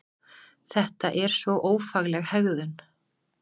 Þetta er svo ófagleg hegðun!